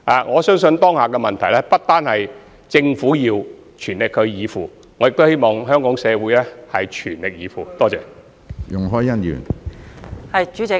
我相信當下的問題，不單政府需要全力以赴，亦希望香港社會各階層也全力以赴。